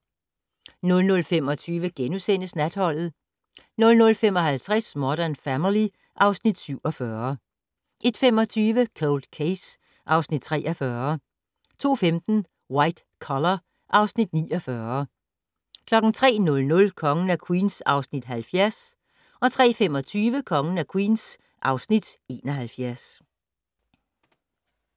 00:25: Natholdet * 00:55: Modern Family (Afs. 47) 01:25: Cold Case (Afs. 43) 02:15: White Collar (Afs. 49) 03:00: Kongen af Queens (Afs. 70) 03:25: Kongen af Queens (Afs. 71)